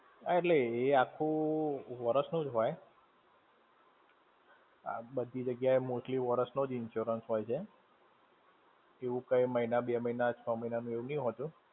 હા એટલે, એ આખું વરસ નું જ હોય! બધી જગ્યા એ mostly વર્ષ નો જ insurance હોય છે. એવું કઈ મહિના, બે મહિના, છ મહિના નું એવું નહીં હોતું.